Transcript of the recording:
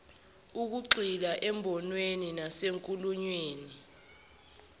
ukugxila emibonweni nasenkulumweni